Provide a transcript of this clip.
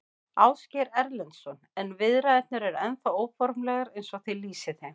Ásgeir Erlendsson: En viðræðurnar eru ennþá óformlegar eins og þið lýsið þeim?